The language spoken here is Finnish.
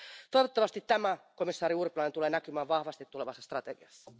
Toivottavasti tämä, komissaari Urpilainen, tulee näkymään vahvasti tulevassa strategiassa.